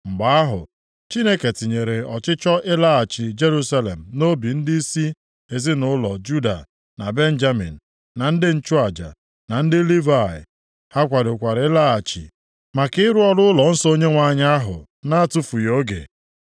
Mgbe ahụ, Chineke tinyere ọchịchọ ịlaghachi Jerusalem + 1:5 Nke a bụ ogologo ụzọ dị narị kilomita itoolu maọbụ otu puku. Ọ ga-ewe onye ije ihe dịka ọnwa abụọ, maọbụ atọ iji ụgbọala nke ịnyịnya na-adọkpụ ruo Jerusalem. nʼobi ndịisi ezinaụlọ Juda na Benjamin na ndị nchụaja, na ndị Livayị. Ha kwadokwara ịlaghachi maka ịrụ ọrụ ụlọnsọ Onyenwe anyị ahụ na-atụfughị oge.